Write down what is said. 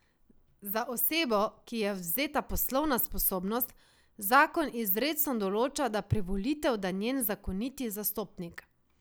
Za osebo, ki ji je odvzeta poslovna sposobnost, zakon izrecno določa, da privolitev da njen zakoniti zastopnik.